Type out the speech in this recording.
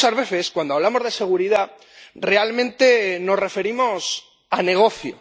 Muchas veces, cuando hablamos de seguridad, realmente nos referimos a negocio.